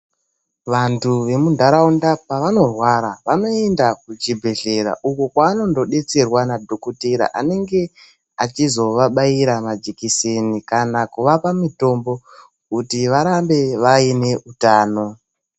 Vanthu vemuntharaunda pevanorwara vanoenda kuchibhedhlera uko kwevanondodetserwa nadhokothera unenge eizovabaira majekiseni, kana kuvapa mitombo kuti varambe vaine utano.